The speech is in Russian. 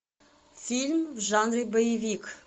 фильм в жанре боевик